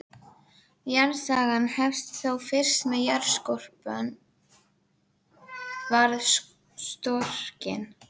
Jarðsagan hefst þá fyrst er jarðskorpan varð storkin.